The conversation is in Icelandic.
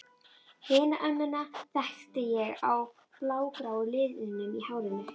Hina ömmuna þekkti ég á blágráu liðunum í hárinu.